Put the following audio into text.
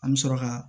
An bɛ sɔrɔ ka